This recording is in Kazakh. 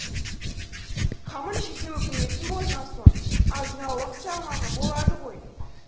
қамын жейтін өкіметің болған соң азын аулақ салмағы болады ғой